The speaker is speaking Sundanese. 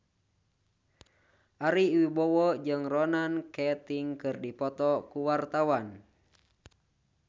Ari Wibowo jeung Ronan Keating keur dipoto ku wartawan